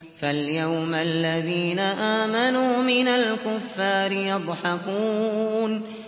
فَالْيَوْمَ الَّذِينَ آمَنُوا مِنَ الْكُفَّارِ يَضْحَكُونَ